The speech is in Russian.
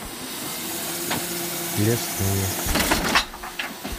лесные